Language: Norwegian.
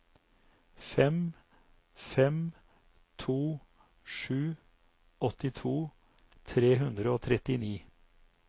fem fem to sju åttito tre hundre og trettini